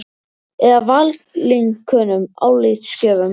Eða valinkunnum álitsgjöfum?